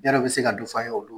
Yar'aw bɛ se ka dɔ fɔ an ye olu